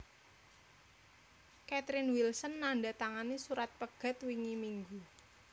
Catherine Wilson nandatangani surat pegat wingi minggu